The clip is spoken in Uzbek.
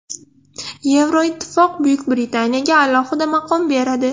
Yevroittifoq Buyuk Britaniyaga alohida maqom beradi.